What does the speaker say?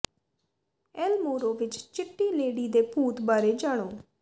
L Morro ਵਿਚ ਚਿੱਟੀ lady ਦੇ ਭੂਤ ਬਾਰੇ ਜਾਣੋ